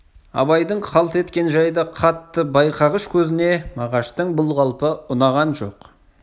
абайдың қалт еткен жайды қатты байқағыш көзіне мағаштың бұл қалпы ұнаған жоқ